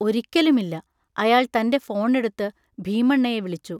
ഒരിക്കലുമില്ല! അയാൾ തൻ്റെ ഫോണെടുത്ത് ഭീമണ്ണയെ വിളിച്ചു.